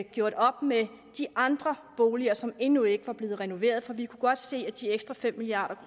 gjort op med de andre boliger som endnu ikke var blevet renoveret for vi kunne godt se at de ekstra fem milliard